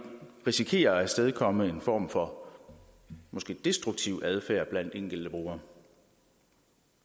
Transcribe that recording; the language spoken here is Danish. risikerer at afstedkomme en form for måske destruktiv adfærd blandt enkelte brugere